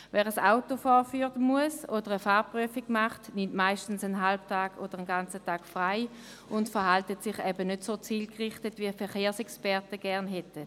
Wer ein Auto vorführen muss oder eine Fahrzeugprüfung machen lässt, nimmt meist einen halben oder einen ganzen Tag frei und verhält sich eben nicht so zielgerichtet, wie es die Verkehrsexperten gerne hätten.